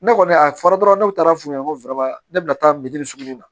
Ne kɔni a fɔra dɔrɔn ne taara f'u ɲɛ ko ne bɛna taa sukurunin na